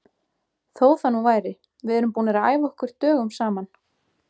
Þó það nú væri, við erum búnir að æfa okkur dögum saman.